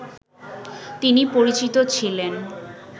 তিনি পরিচিত ছিলেন